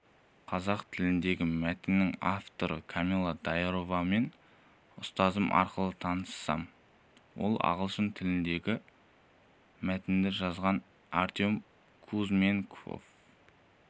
қазақ тіліндегі мәтіннің авторы камилла даировамен ұстазым арқылы таныссам ал ағылшын тіліндегі мәтінді жазған артем кузьменков